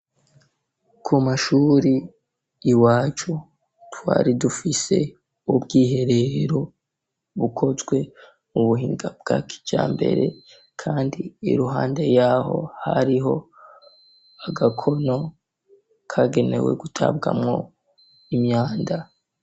Ku mashure iwacu twari dufise ubw'iherero bukozwe mu buhinga bwakijambere kandi iruhande yaho hariho agakono kagenewe gutabwamo imyanda.